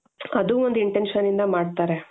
ಅದು ಒಂದ್ intentionಯಿಂದ ಮಾಡ್ತಾರೆ